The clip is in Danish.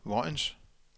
Vojens